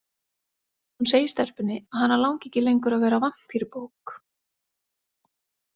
Hún segir stelpunni að hana langi ekki lengur að vera vampírubók.